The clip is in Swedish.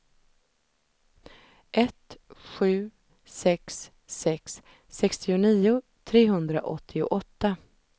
ett sju sex sex sextionio trehundraåttioåtta